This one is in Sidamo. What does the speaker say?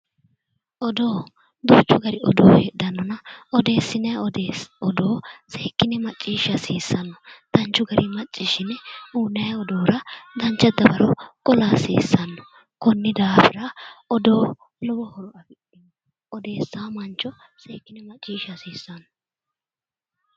Odoo duuchu gari odoo heedhannona odeessinayi odoo seekkinee macciishsha hasiissanno danchu gari macciishine uyinayi xa'mora dawaro qola hasiissanno konni daaafira odoo lowo horo uyiitanno odessawo mancho seekkine harunsa hasiissanno